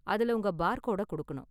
அதுல உங்க பார்கோடை கொடுக்கணும்.